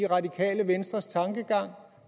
radikale venstres tankegang